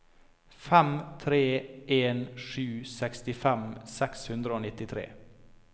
fem tre en sju sekstifem seks hundre og nittitre